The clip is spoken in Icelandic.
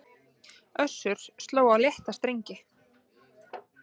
Össur sló á létta strengi